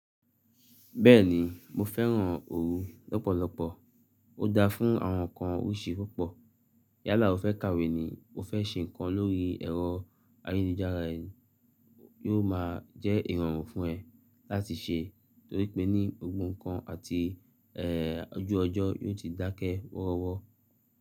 Bẹ́ẹ̀ni mo fẹ́ràn òru lọ́pọ̀lọpọ̀, ó dá fún àwọn nǹkan oríṣi púpọ̀. Yálà o fẹ́ kàwé ni mo fẹ́ ṣe nǹkan lórí ẹ̀rọ ayélujára e yóò ma jẹ́ ìrọ̀rùn fún ẹ láti ṣe torí pé ní gbogbo nǹkan àti ẹ ojú ọjọ́ yóò ti dákẹ́ wọ́rọ́wọ́.